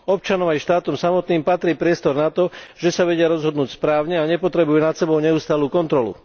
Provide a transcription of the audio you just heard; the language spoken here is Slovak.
Občanom aj štátom samotným patrí priestor na to, že sa vedia rozhodnúť správne a nepotrebujú nad sebou neustálu kontrolu.